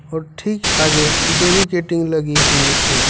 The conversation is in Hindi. और ठीक आगे बेरीकटिंग लगी हुई है।